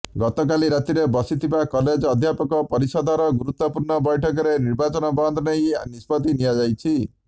ଗତକାଲି ରାତିରେ ବସିଥିବା କଲେଜ ଅଧ୍ୟାପକ ପରିଷଦର ଗୁରୁତ୍ୱପୂର୍ଣ୍ଣ ବୈଠକରେ ନିର୍ବାଚନ ବନ୍ଦ ନେଇ ନିଷ୍ପତି ନିଆଯାଇଛି